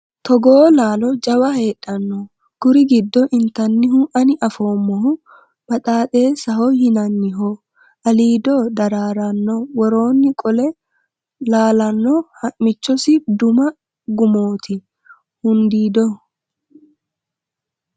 Togoo laalo jawa heedhano kuri giddo intannihu ani afoommohu baxaxesaho yinanniho aliido dararano worooni qole laalano hamichosi duma gumamoti hundiido.